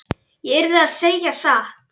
Ég yrði að segja satt.